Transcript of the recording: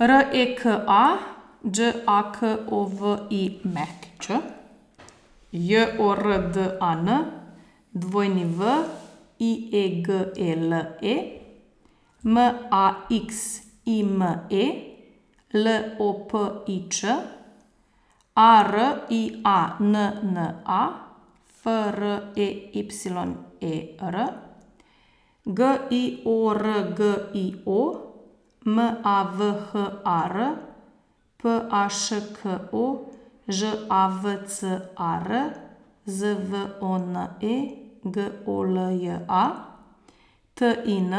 R E K A, Đ A K O V I Ć; J O R D A N, W I E G E L E; M A X I M E, L O P I Č; A R I A N N A, F R E Y E R; G I O R G I O, M A V H A R; P A Š K O, Ž A V C A R; Z V O N E, G O L J A; T I N,